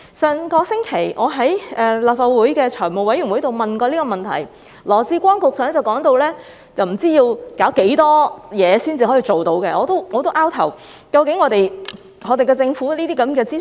上星期，我在立法會財務委員會上也曾提出這問題，羅致光局長當時說到不知要做多少程序才能辦到，令我摸不着頭腦。